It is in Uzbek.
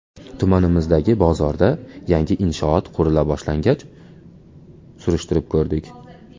Tumanimizdagi bozorda yangi inshoot qurila boshlangach, surishtirib ko‘rdik.